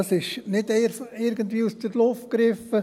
Das ist nicht irgendwie aus der Luft gegriffen.